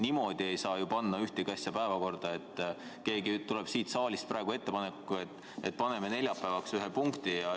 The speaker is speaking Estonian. Niimoodi ei saa ju panna ühtegi asja päevakorda, et keegi teeb siit saalist lihtsalt ettepaneku, et paneme neljapäevaks ühe punkti juurde.